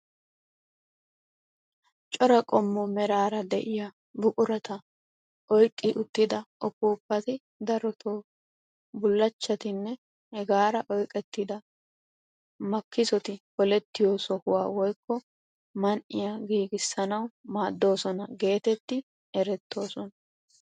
Cora qommo meraara de'iyaa buqurata oyqqi uttida upuupati darotoo bullachchatinne hegaara oyqqettida makisoti polettiyoo sohuwaa woykko man"iyaa giigisanawu maaddoosona getetti erettoosona.